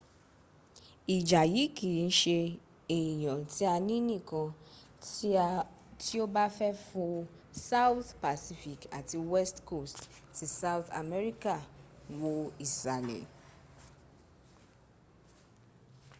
ìjà yìí kì ń ṣe ẹ̀yán tí a ní nìkan tí o bá fẹ́ fo south pacific àti west coast ti south amerika. wo ìsàlẹ̀